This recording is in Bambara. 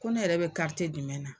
Ko ne yɛrɛ bɛ jumɛn na?